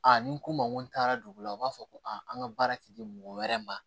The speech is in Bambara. ni n ko n ma n ko n taara dugu la u b'a fɔ ko an ka baara ti di mɔgɔ wɛrɛ ma